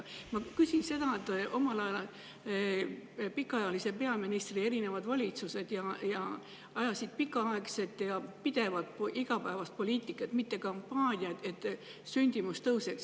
Ma küsin seda, et omal ajal pikaajalise peaministri erinevad valitsused ajasid pikaaegset ja pidevat igapäevast poliitikat, mitte kampaaniaid, et sündimus tõuseks.